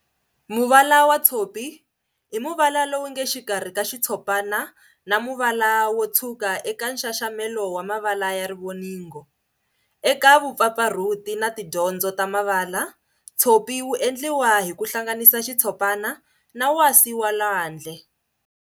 Muvala wa Tshopi i muvala lowunge xikarhi ka xitshopana na muvala wo tshwuka eka nxaxamelo wa mavala ya rivoningo. Eka vupfapfarhuti na tidyondzo ta mavala, tshopi wu endliwa hi ku hlanganisa xitshopana na wasi wa lwandle.